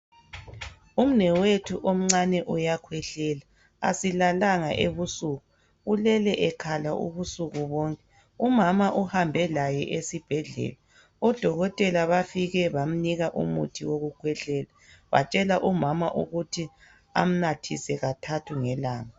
Umnewethu omncane uyakhwehlela asilalanga ebusuku ulele ekhala ubusuku bonke umama uhambe laye esibhedlela bafike bamnika umuthi wokukhwehlela batshela umama ukuthi amnathise kathathu ngelanga